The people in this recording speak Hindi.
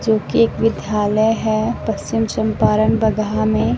जो कि एक विधालय है पश्चिम चंपारण बगहा में।